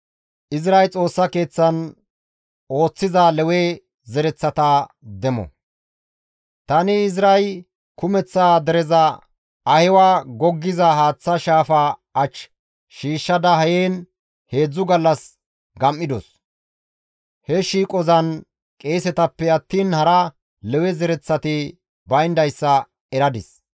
Tani Izray kumeththa dereza Ahiwa goggiza haaththa shaafaa ach shiishshada heen heedzdzu gallas gam7idos; he shiiqozan qeesetappe attiin hara Lewe zereththati bayndayssa eradis;